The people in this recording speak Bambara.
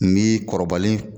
N b'i kɔrɔbalen